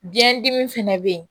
Biyɛn dimi fɛnɛ bɛ yen